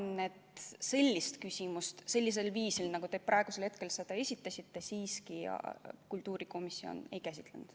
Ma arvan, et sellist küsimust sellisel viisil, nagu te praegu selle esitasite, kultuurikomisjon ei käsitlenud.